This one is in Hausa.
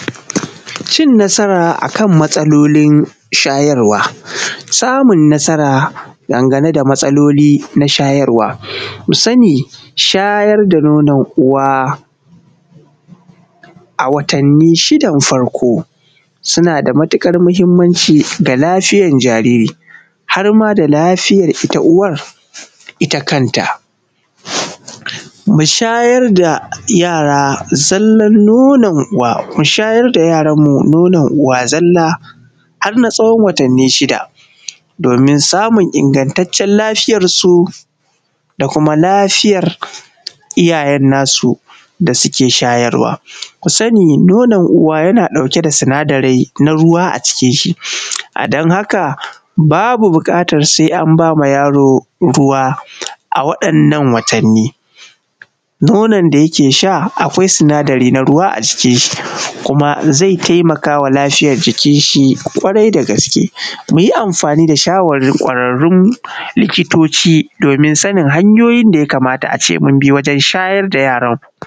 Cin matsala akan matsalolin shayarwa, samun nasara dangane da matsaloli na shayarwa, ku sani shayar da nonon uwa a watanni shidan farko suna da matuƙar mahimanci ga lafiyar jariri, harma da lafiyar ta uwan ita kanta. Mu shayar da yaranmu zallan nonon uwa, mu shayar da yaranmu nonon uwa zalla har na tsawon watanni shida, domin samun ingantaccen lafiyar su, da kuma lafiyar iyayen nasu da suke shayarwa. Ku sani nonon uwa yana da sinadarai na ruwa a cikin shi, a dan haka babu buƙatan sai an ba ma yaro ruwa a waɗannan watanni; nonon da yake sha akwai sinadari na ruwa a ciki, kuma zai taimaka wa lafiyar jikin shi ƙwarai da gaske. Mu yi amfani da shawarwarin likitoci domin sani hanyoyin da ya kamata a ce a bi wajen shayar da yaro.